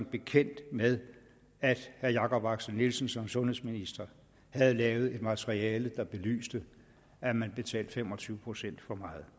bekendt med at herre jakob axel nielsen som sundhedsminister havde lavet et materiale der belyste at man betalte fem og tyve procent for meget